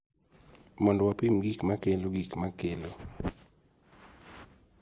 Mondo wapim gik ma kelo, gik ma kelo,